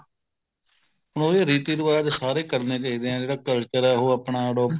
ਹੁਣ ਉਹੋ ਜਿਹੇ ਰੀਤੀ ਰਿਵਾਜ਼ ਸਾਰੇ ਕਰਨੇ ਚਾਹੀਦੇ ਹੈ ਜਿਹੜਾ culture ਹੈ ਉਹ ਆਪਣਾ adopted